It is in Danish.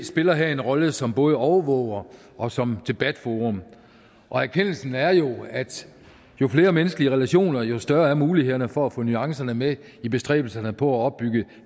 spiller her en rolle som både overvåger og som debatforum og erkendelsen er jo at jo flere menneskelige relationer jo større er mulighederne for at få nuancerne med i bestræbelserne på at opbygge